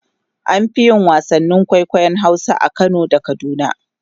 an Fi yin wasannin kwaikwayon Hausa a Kano da kaduna